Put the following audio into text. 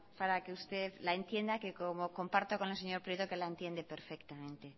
para que usted la entienda que como comparto con el señor prieto la entiende perfectamente